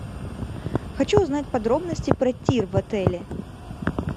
хочу узнать подробности про тир в отеле